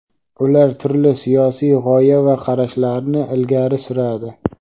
ular turli siyosiy g‘oya va qarashlarni ilgari suradi.